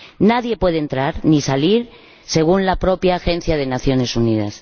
Nadie puede entrar ni salir, según la propia Agencia de las Naciones Unidas.